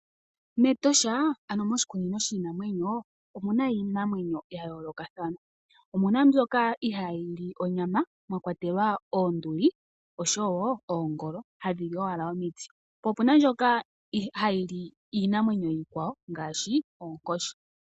Metosha ano moshikunino shiinamwenyo omuna iinamwenyo ya yoolokathana. Omuna mbyoka ihaa yili onyama mwa kwatelwa Oonduli osho wo Oongolo, hadhi li owala omiti. Po opuna mbyoka iinamwenyo iikwawo ngaashi onkoshi.